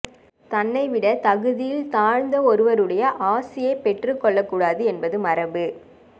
தன்னை விட தகுதியில் தாழ்ந்த ஒருவருடைய ஆசியை பெற்றுக்கொள்ளக்கூடாது என்பது மரபு